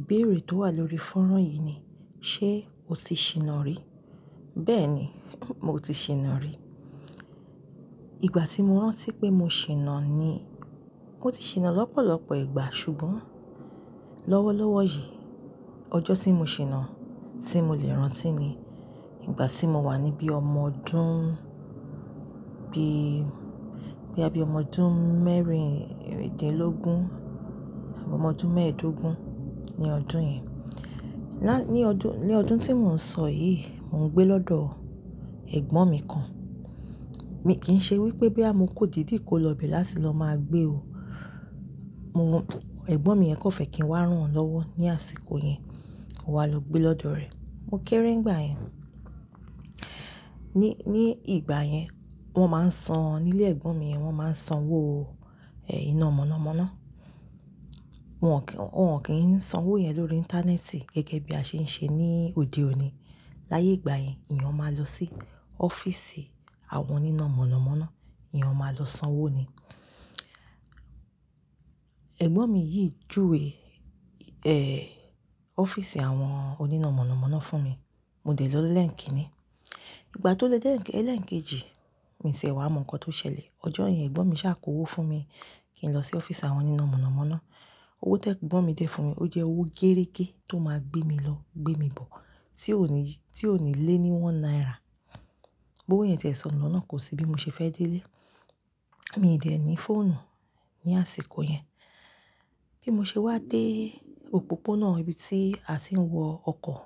Ìbéèrè tó wà lórí fọ́nrán yìí ni "ṣé o ti ṣinà rí?" Bẹ́ẹ̀ ni, mo ti ṣinà rí. Ìgbà tí mo rántí pé mo ṣinà ni, mo ti ṣinà lọ́pọ̀lọpọ̀ ìgbà ṣùgbọ́n lọ́wọ́lọ́wọ́ yìí, ọjọ́ tí mo ṣinà tí mo lè rántí ni ìgbà tí mo wà ní bíi ọmọ ọdún bií, boya bí ọmọ ọdún mẹ́rindinlógún, abi ọmọ ọdún mẹ́ẹ̀ẹ́dógún ní ọdún yẹn. Lá-- ní ọdún, ní ọdún tí mò ń sọ yìí, mò ń gbé lọ́dọ̀ ẹ̀gbọ́n mi kan. Mi kì í ṣe wípé boya mo kan dìidí ko lọ bẹ̀ láti lọ máa gbé o. Mo, ẹ̀gbọ́n mi yẹn kan fẹ́ kí n wá rán won lọ́wọ́ ní àsìkò yẹn, mo wá lọ gbé lọ́dọ̀ rẹ̀. Mo kéré nígbà yẹn. Ni, ní ìgbà yẹn, wọ́n máa ń san nílé ẹ̀gbọ́n mi yẹn, wọ́n máa ń san owó, ẹ́, iná mọ̀nàmọ́ná. Wọn kì, wọn kì í san owó yẹn lórí íńtánẹ́ẹ̀tì gẹ́gẹ́ bí a ṣe ń ṣe ní òde òní. Láyé ìgbà yẹn, èeyàn máa lọ sí ọ́fíìsì àwọn oníná mọ̀nàmọ́ná, èeyàn máa lọ san owó ni. Ẹ̀gbọ́n mi yìí júwe, ẹ́, ọ́fíìsì àwọn oníná mọ̀nàmọ́ná fún mi, mo dè lọ́ ni ẹ́ńkíìnì. Ìgbà tó di ẹ́ń-ẹ́lẹ̀ ẹ́ńkejì, mìi ti e wà mọ̀ nǹkan tó ṣẹlẹ̀. Ọjọ́ yẹn ẹ̀gbọ́n mi ṣà kò owó fún mi kí n lọ sí ọ́fíìsì àwọn oníná mọ̀nàmọ́ná. Owó ti ẹ̀gbọ́n mi dè fún mi, ó jẹ́ owó géerégé tó máa gbé mi lọ, gbé mi bọ̀, tí ò ní, tí ò ní lé ní one naira. Owó yẹn tí ẹ̀ sọnu lọ́nà kò sì bí mo ṣe fẹ́ dé lé. Mi ì dẹ̀ ní fóònù ní àsìkọ̀ yẹn. Bí mo ṣe wá dé òpópónà ibi tí a ti ń wọ ọkọ̀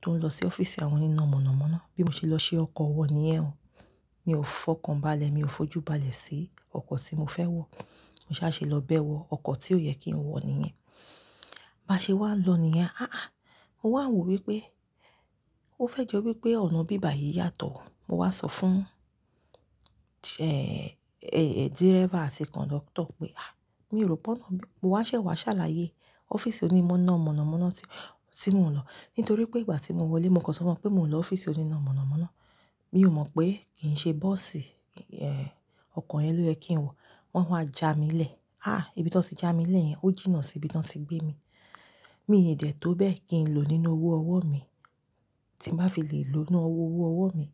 tó ń lọ sí ọ́fíìsì àwọn oníná mọ̀nàmọ́ná, bí mo ṣe lọ ṣi ọkọ̀ wọ̀ níyẹn o, mi ò fọkàn baálẹ̀, mi ò fojú baálẹ̀ sí ọkọ̀ tí mo fẹ́ wọ̀. Mo sá ṣe lọ bẹ́ wọ ọkọ̀ tí ò yẹ kí n wọ̀ níyẹn. Báa ṣe wá n lọ̀ níyẹn. Áà! Mo wà wò wípé, ó fẹ́ jọ wípé ọ̀nà ibí bàyìí yàtọ̀. Mo wà sọ fún, ẹ́ẹ̀, ẹ́, dírébà àti kọ̀ńdọ́kítọ̀ pé, "àh, mi ò rò pé ọ̀nà bí "Mo wá ṣẹ̀ wá ṣàlàyé ọ́fíìsì onímọ̀na mọ̀nàmọ́ná tí, tí mò ń lọ. Nítorí pé ìgbà tí mo wọlé, mo kàn sọ mọ̀ pé mò ń lọ ọ́fíìsì oníná mọ̀nàmọ́ná. Mi ò mọ̀ pé kì í ṣe bọ́ọ̀sì, ẹ́ẹ̀, ọkọ̀ yẹn ló yẹ kí n wọ̀. Wọ́n wá ja mi lẹ̀. Áà! Ibi tí wọ́n ti ja mi lẹ̀ yẹn, ó jìnnà sí ibi tí wọ́n ti gbé mi. Mi ì dẹ̀ tó bẹ́ẹ̀ kí n lò nínú owó ọwọ́ mi. Tí n bá fi lè lò ó nínú owó ọwọ́ mi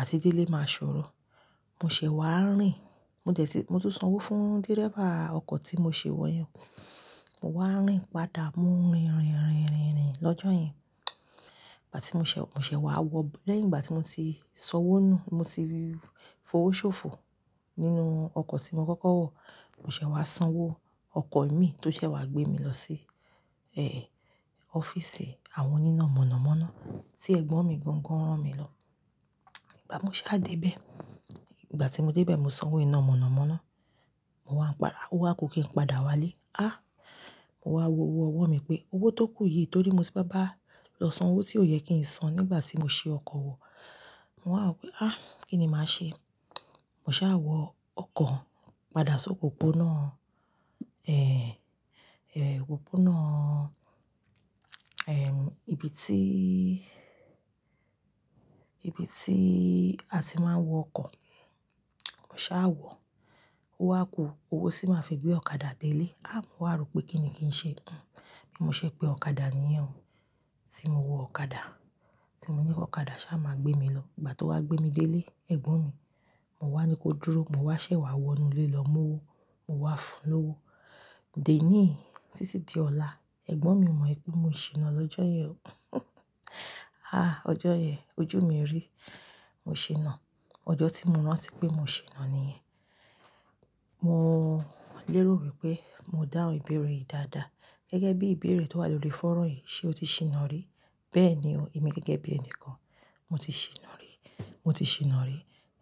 àti dé ilé, màa sòrò. Mo ṣẹ̀ wá rìn. Mo dẹ̀ tí-- mo ti san owó fún dírébà ọkọ̀ tí mo ṣi wọ̀ yẹn. Mo wá rìn padà, mo rìn, rìn, rìn, rìn, rìn lọ́jọ́ yẹn. Ìgbà tí mo ṣẹ̀, mo ṣẹ̀ wá wọ̀ b-- lẹ́yìn ìgbà tí mo ti so owó nù, mo ti fi owó ṣòfò nínú ọkọ̀ tí mo kọ́kọ́ wọ̀. Mo ṣẹ̀ wá san owó ọkọ̀ imi tó ṣẹ̀ wá gbé mi lọ sí, ẹ́ẹ̀, ọ́fíìsì àwọn oníná mọ̀nàmọ́ná tí ẹ̀gbọ́n mi gangan rán mi lọ. Ìgbà mo ṣà dé bẹ́ẹ̀, ìgbà tí mo dé bẹ́ẹ̀, mo san owó iná mọ̀nàmọ́ná. Mo wà ń pa-- o wa ku kí n padà wá ilé. Á! Mo wà wo owó ọwọ́ mi pé owó tó kù yìí torí mo ti bá lọ san owó tí ò yẹ kí n san nígbà tí mo ṣi ọkọ̀ wọ̀. Mo wà wò pé, "á! Kíni mà a ṣe?" Mo ṣà wọ ọkọ̀ padà sí òpópónà, ẹ́ẹ̀, ẹ́, òpópónà, ẹm, ibi tí, ibi tí a ti máa ń wọ ọkọ̀. Mo ṣà wọ̀, o wá kù, owó tì máa fi gbé ọ̀kadà dé ilé. Á! Mo wà rò pé kíni kí n ṣe. Hmm. Bí mo ṣẹ̀ pé ọ̀kadà ni yẹn o, tí mo wọ ọ̀kadà. Tí mo ní ki ọ̀kadà ṣà máa gbé mi lọ. Ìgbà tó wá gbé mi dé ilé, ẹ̀gbọ́n mi, mo wà ní ko dúró, mo wá ṣẹ̀ wá wọ inú ilé lọ mú owó. Mo wá fún un lówó. Di ení yii, títí di ọ̀la, ẹ̀gbọ́n mi o mọ̀ wipé mo ṣinà lọ́jọ́ yẹn o. Áà! Ọjọ́ yẹn ojú mi rí. Mo ṣinà. Ọjọ́ tí mo rántí pé mo ṣinà níyẹn. Mo lérò wípé mo dáhun ìbéèrè yìí dáadáa. Gẹ́gẹ́ bí ìbéèrè tó wà lórí fọ́nrán yìí "ṣé o ti ṣinà rí?" Bẹ́ẹ̀ ni o. Èmi gẹ́gẹ́ bí ẹni kan, mo ti ṣinà rí. Mo ti ṣinà rí.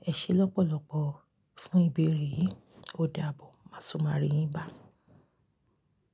Ẹ ṣé lọ́pọ̀lọpọ̀ fún ìbéèrè yìí, ó dàbọ̀. Màá tún máa rí yín bá.